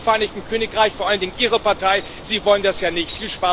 Sie im Vereinigten Königreich, vor allen Dingen Ihre Partei, wollen das ja nicht.